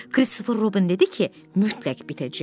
Kristofer Robin dedi ki, mütləq bitəcək.